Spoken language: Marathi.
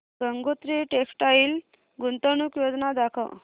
गंगोत्री टेक्स्टाइल गुंतवणूक योजना दाखव